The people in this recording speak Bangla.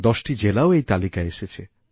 দশটি জেলাও এই তালিকায় এসেছে